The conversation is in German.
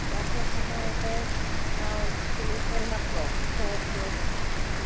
Frau Präsidentin, Frau Vizepräsidentin, Herr amtierender Ratspräsident!